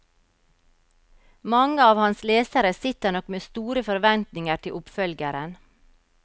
Mange av hans lesere sitter nok med store forventninger til oppfølgeren.